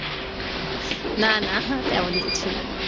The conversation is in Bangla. না না তেমন কিছু না।